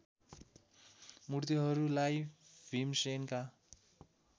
मूर्तिहरूलाई भीमसेनका